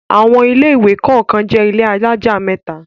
Àwọn ilé-ìwé kọ̀ọ̀kan jẹ́ ilé alájà mẹ́ta.